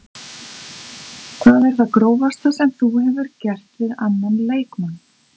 Hvað er það grófasta sem þú hefur gert við annan leikmann?